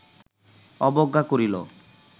অবজ্ঞা করিল